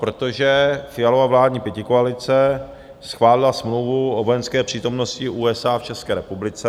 Protože Fialova vládní pětikoalice schválila smlouvu o vojenské přítomnosti USA v České republice.